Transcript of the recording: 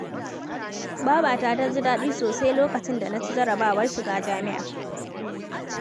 Babata ta ji daɗi sosai lokacin da na ci jarrabawar shiga jami'a.